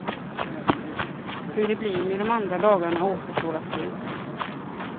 Hur det blir med de andra dagarna återstår att se.